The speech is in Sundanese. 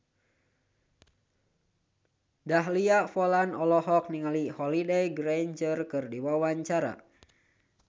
Dahlia Poland olohok ningali Holliday Grainger keur diwawancara